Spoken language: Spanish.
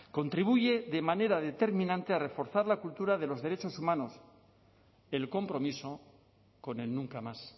contribuye de manera determinante a reforzar la cultura de los derechos humanos el compromiso con el nunca más